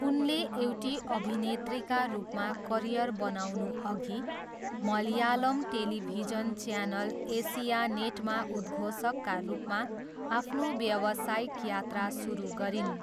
उनले एउटी अभिनेत्रीका रूपमा करियर बनाउनुअघि मलयालम टेलिभिजन च्यानल एसियानेटमा उद्घोषकका रूपमा आफ्नो व्यवसायिक यात्रा सुरु गरिन्।